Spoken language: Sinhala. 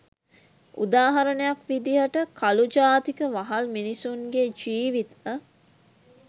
උදාහරණයක් විදිහට කළු ජාතික වහල් මිනිසුන්ගේ ජීවිත